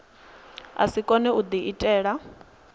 a si kone u diitela